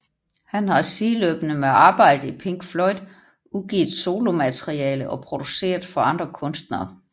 Han har sideløbende med arbejdet i Pink Floyd udgivet solomateriale og produceret for andre kunstnere